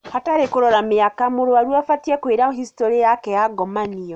Hatarĩ kũrora mĩaka mũrwaru afatie kwĩra historĩ yake ya ngomanio